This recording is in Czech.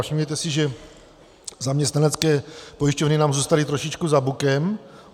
Všimněte si, že zaměstnanecké pojišťovny nám zůstaly trošičku za bukem.